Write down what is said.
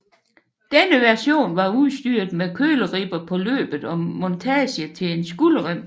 Denne version var udstyret med køleribber på løbet og montage til en skulderrem